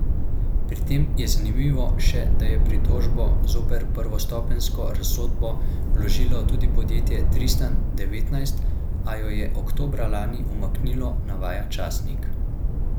Pri tem je zanimivo še, da je pritožbo zoper prvostopenjsko razsodbo vložilo tudi podjetje Tristan devetnajst, a jo je oktobra lani umaknilo, navaja časnik.